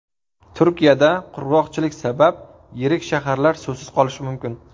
Turkiyada qurg‘oqchilik sabab yirik shaharlar suvsiz qolishi mumkin .